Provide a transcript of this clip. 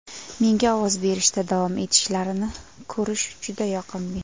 Menga ovoz berishda davom etishlarini ko‘rish juda yoqimli.